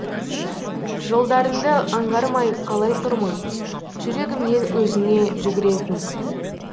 жолдарыңды аңғармай қалай тұрмын жүрегімнен өзіңе жүгіретін